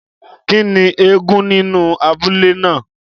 Kín ni eégún nínú abúlé ná à?